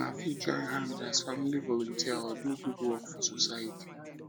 una fit um join hand as family volunteer or do good um work for society